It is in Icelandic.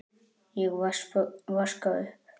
Ég vaska upp.